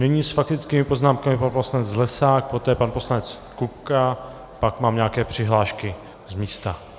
Nyní s faktickými poznámkami pan poslanec Zlesák, poté pan poslanec Kupka, pak mám nějaké přihlášky z místa.